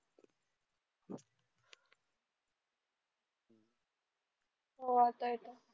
हो आता येत आहे